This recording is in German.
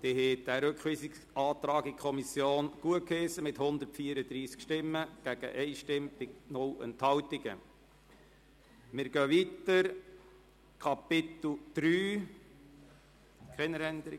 Sie haben den Rückweisungsantrag in die Kommission mit 134 Ja-Stimmen gegen 1 Nein-Stimme bei 0 Enthaltungen gutgeheissen.